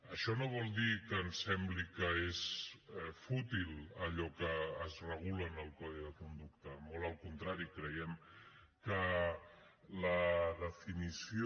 això no vol dir que ens sembli que és fútil allò que es regula en el codi de conducta molt al contrari creiem que la definició